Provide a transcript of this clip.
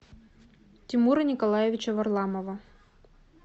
тимура николаевича варламова